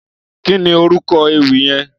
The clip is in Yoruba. Kìní órúkò éwì yèn?